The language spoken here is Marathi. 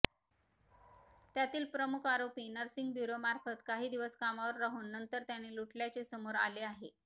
त्यातील मुख्य आरोपी नर्सिंग ब्युरोमार्फत काही दिवस कामावर राहून नंतर त्याने लुटल्याचे समोर आले आहे